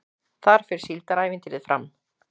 Þar fer Síldarævintýrið fram